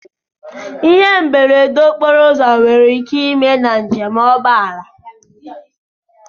Ihe mberede okporo ụzọ nwere ike ime na nje m ụgbọala.